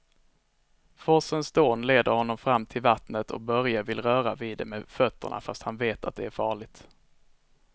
Forsens dån leder honom fram till vattnet och Börje vill röra vid det med fötterna, fast han vet att det är farligt.